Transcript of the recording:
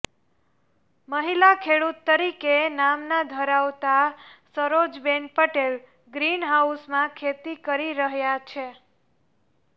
મહિલા ખેડૂત તરીકે નામના ધરાવતા સરોજબેન પટેલ ગ્રીનહાઉસમાં ખેતી કરી રહ્યાં છે